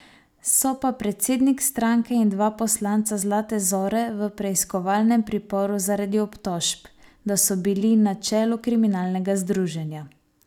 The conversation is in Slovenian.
So pa predsednik stranke in dva poslanca Zlate zore v preiskovalnem priporu zaradi obtožb, da so bili na čelu kriminalnega združenja.